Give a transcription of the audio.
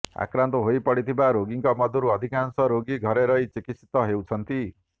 ଆକ୍ରାନ୍ତ ହୋଇପଡ଼ିଥିବା ରୋଗୀଙ୍କ ମଧ୍ୟରୁ ଅଧିକାଂଶ ରୋଗୀ ଘରେ ରହି ଚିକିତ୍ସିତ ହେଉଛନ୍ତି